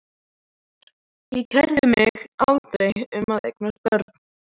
Ég kærði mig aldrei um að eignast börn.